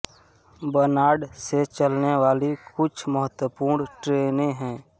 बनाड़ से चलने वाली कुछ महत्वपूर्ण ट्रेनें हैं